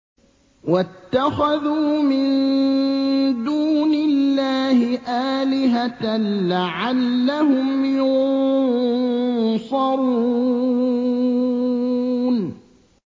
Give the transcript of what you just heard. وَاتَّخَذُوا مِن دُونِ اللَّهِ آلِهَةً لَّعَلَّهُمْ يُنصَرُونَ